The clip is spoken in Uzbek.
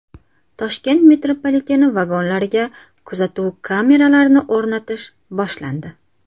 Toshkent metropoliteni vagonlariga kuzatuv kameralarini o‘rnatish boshlandi.